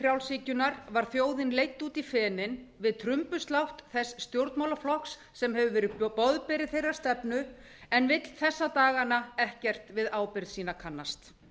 frjálshyggjunnar var þjóðin leidd út í fenin við trumbuslátt þess stjórnmálaflokks sem gefur verið boðberi þeirrar stefnu en vill þessa dagana ekkert við ábyrgð sína kannast